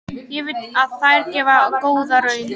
Ég veit að þær gefa góða raun.